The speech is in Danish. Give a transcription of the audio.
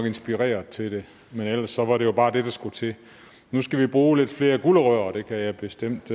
inspireret til det men ellers var det jo bare det der skulle til nu skal vi bruge lidt flere gulerødder og det kan jeg bestemt